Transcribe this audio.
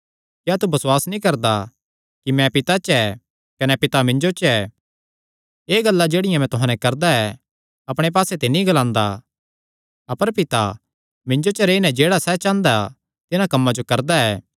क्या तू बसुआस नीं करदा कि मैं पिता च ऐ कने पिता मिन्जो च ऐ एह़ गल्लां जेह्ड़ियां मैं तुहां नैं करदा ऐ अपणे पास्से ते नीं ग्लांदा अपर पिता मिन्जो च रेई नैं जेह्ड़ा सैह़ चांह़दा तिन्हां कम्मां जो करदा ऐ